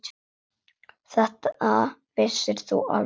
Þetta vissir þú alveg pabbi.